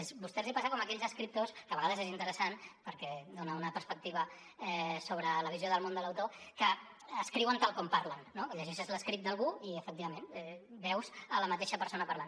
a vostès els passa com a aquells escriptors que a vegades és interessant perquè dona una perspectiva sobre la visió del món de l’autor que escriuen tal com parlen no que llegeixes l’escrit d’algú i efectivament veus la mateixa persona parlant